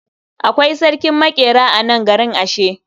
Akwai sarkin maƙera a nan garin ashe.